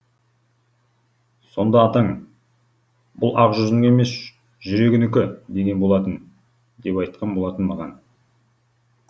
сонда атаң бұл ақ жүзінің емес жүрегінікі деген болатын деп айтқан болатын маған